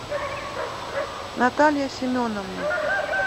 наталья семеновна